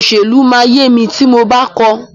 Òṣèlú máa yé mi tí mo bá kọ́ọ.